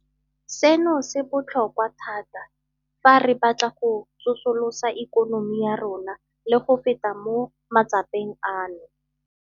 Seno se bo tlhokwa thata fa re batla go tsosolosa ikonomi ya rona le go feta mo matsapeng ano.